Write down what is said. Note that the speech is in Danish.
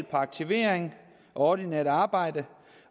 på aktivering og ordinært arbejde